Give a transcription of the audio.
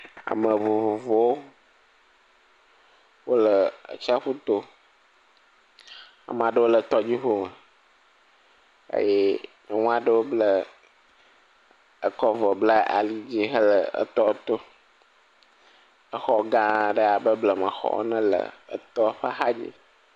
Ame vovovowo wole atsiaƒu to, ame aɖewo le tɔdziŋu me eye nyɔnu aɖewo ble.., kɔ avɔ bla ali to, exɔ gãa aɖe abe blema xɔ aɖe le etɔ ƒe axa dzi.